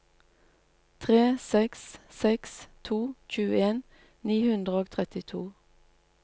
tre seks seks to tjueen ni hundre og trettito